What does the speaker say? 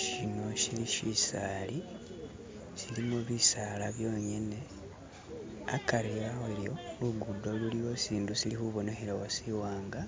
Shino shili shisali shilimo bisaala byonyene hakari habyo lugudo luliwo shintu shili khubonekhelawo shiwanga